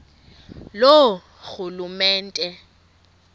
loorhulumente